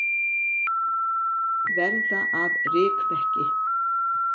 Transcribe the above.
Verða að rykmekki.